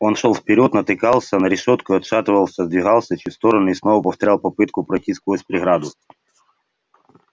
он шёл вперёд натыкался на решётку отшатывался сдвигался чуть в сторону и снова повторял попытку пройти сквозь преграду